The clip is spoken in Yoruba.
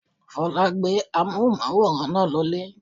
Fọlákẹ́ gbé amóhùnmáwòrán náà lọ lé